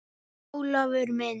En Ólafur minn.